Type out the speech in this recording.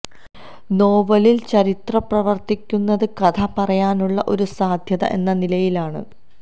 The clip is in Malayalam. നോവലില് ചരിത്രം പ്രവര്ത്തിക്കുന്നത് കഥ പറയാനുള്ള ഒരു സാധ്യത എന്ന നിലയിലാണ്